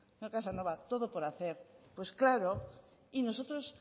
señor casanova todo por hacer pues claro y nosotros